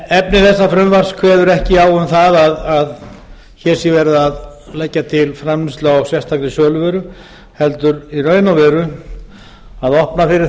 efni bera frumvarps kveður ekki á um að hér sé verið að leggja til framleiðslu á sérstakri söluvöru heldur í raun og veru að opna fyrir